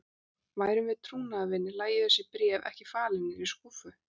Værum við trúnaðarvinir, lægju þessi bréf ekki falin niðri í skúffu.